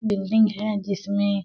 building है जिसमे--